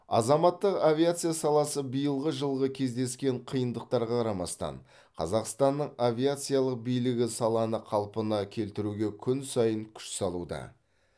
азаматтық авиация саласы биылғы жылғы кездескен қиындықтарға қарамастан қазақстанның авиациялық билігі саланы қалпына келтіруге күн сайын күш салуда